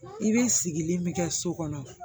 I bɛ sigilen bɛ kɛ so kɔnɔ